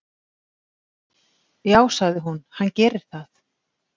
"""Já, sagði hún, hann gerir það."""